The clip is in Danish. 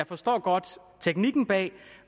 forstår jeg godt teknikken bag